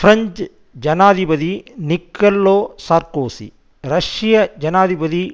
French ஜனாதிபதி Nicolas Sarkozy ரஷ்ய ஜனாதிபதி